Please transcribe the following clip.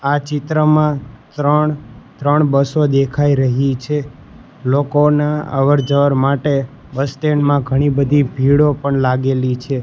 આ ચિત્રમાં ત્રણ-ત્રણ બસો દેખાય રહી છે લોકોના અવર-જવર માટે બસ સ્ટેન્ડ માં ઘણી બધી ભીડો પણ લાગેલી છે.